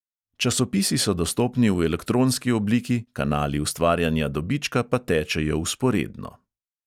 Časopisi so dostopni v elektronski obliki, kanali ustvarjanja dobička pa tečejo vzporedno.